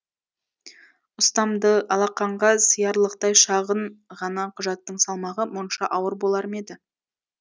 ұстамды алақанға сыярлықтай шағын ғана құжаттың салмағы мұнша ауыр болар ма еді